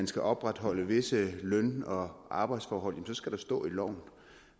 skal opretholdes visse løn og arbejdsforhold skal der stå i loven